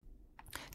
TV 2